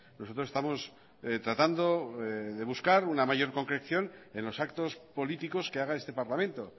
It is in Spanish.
nosotros estamos tratando de buscar una mayor concreción en los actos políticos que haga este parlamento